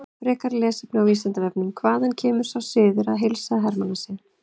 Frekara lesefni á Vísindavefnum: Hvaðan kemur sá siður að heilsa að hermannasið?